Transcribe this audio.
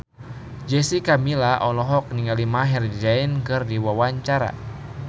Jessica Milla olohok ningali Maher Zein keur diwawancara